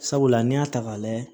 Sabula n'i y'a ta k'a layɛ